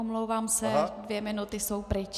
Omlouvám se, dvě minuty jsou pryč.